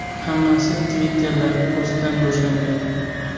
Hammasi Twitter’dagi postdan boshlangan.